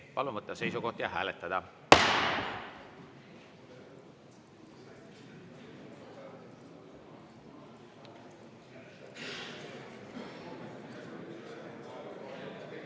Palun võtta seisukoht ja hääletada!